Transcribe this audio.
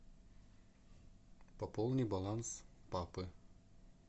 пополни баланс папы